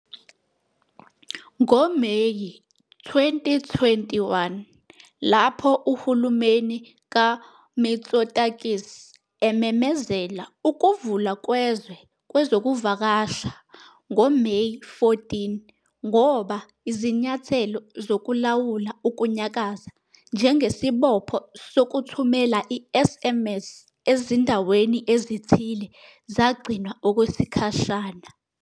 NgoMeyi 2021, lapho uhulumeni kaMitsotakis ememezela ukuvulwa kwezwe kwezokuvakasha ngoMeyi 14, ngoba izinyathelo zokulawula ukunyakaza, njengesibopho sokuthumela i-SMS ezindaweni ezithile, zagcinwa okwesikhashana.